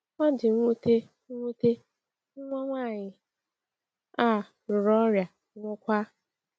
O di nwute, nwute, nwa nwaanyị a ruru ọrịa, nwụọkwa.